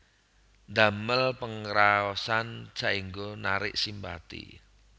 Ndamel pangraosan saéngga narik simpati